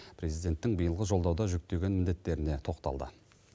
президенттің биылғы жолдауда жүктеген міндеттеріне тоқталды